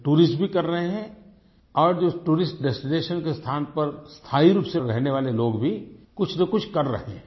tourist भी कर रहे हैं और जो टूरिस्ट डेस्टिनेशन के स्थान पर स्थाई रूप से रहने वाले लोग भी कुछ न कुछ कर रहे हैं